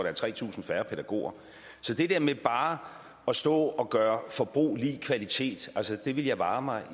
er tre tusind færre pædagoger så det der med bare at stå og gøre forbrug lig med kvalitet ville jeg vare mig